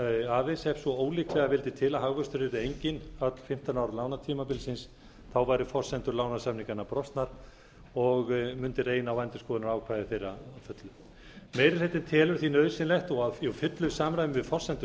aðeins ef svo ólíklega vildi til að hagvöxtur yrði enginn öll fimmtán ár lánatímabilsins væru forsendur lánasamninganna brostnar og mundi reyna á endurskoðunarákvæði þeirra að fullu meiri hlutinn telur því nauðsynlegt og í fullu samræmi við forsendur